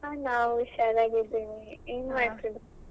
ಹಾ ನಾವು ಹುಷಾರಾಗಿದ್ದೇವೆ, ಏನ್ ಮಾಡ್ತಿದ್ರಿ?